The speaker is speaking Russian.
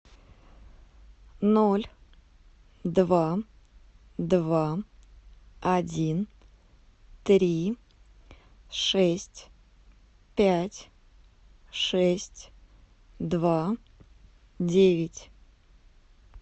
ноль два два один три шесть пять шесть два девять